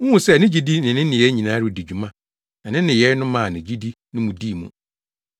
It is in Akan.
Wuhu sɛ ne gyidi ne ne nneyɛe nyinaa redi dwuma na ne nneyɛe no maa ne gyidi no dii mu.